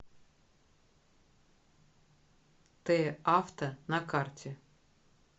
т авто на карте